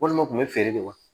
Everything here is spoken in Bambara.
Walima u kun bɛ feere kɛ wa